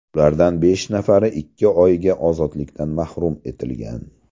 Ulardan besh nafari ikki oyga ozodlikdan mahrum etilgan.